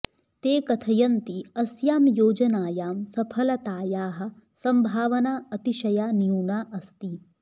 ते कथयन्ति अस्यां योजनायां सफलातायाः सम्भावना अतिशया न्यूना अस्ति